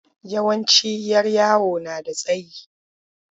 Yawanci 'yar yawo na da tsayi.